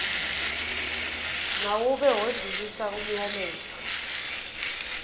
mawube odlulisa umyalezo